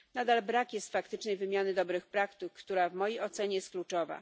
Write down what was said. Nadal brak jest faktycznej wymiany dobrych praktyk, która w mojej ocenie jest kluczowa.